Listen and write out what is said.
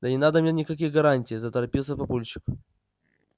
да не надо мне никаких гарантий заторопился папульчик